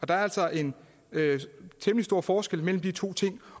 der er altså en temmelig stor forskel mellem de to ting